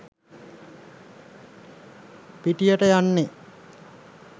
පිටියට යන්නෙ